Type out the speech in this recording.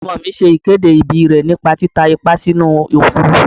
Ọmọ mi ṣe ìkéde ìbí rè nípa títa ìpá sínú Òfurufú.